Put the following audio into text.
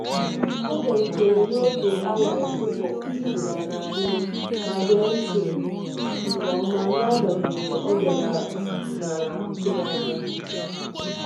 Ọ bịarutere n'oge awa akụkọ ọdịnala anyị ma gee ntị nke ọma n'agbanyeghị ọbiara naa tụrụanya.